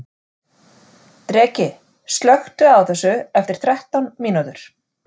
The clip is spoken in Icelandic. Dreki, slökktu á þessu eftir þrettán mínútur.